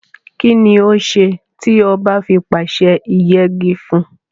Kínni ó se tí oba fi pàse ìyegi fún?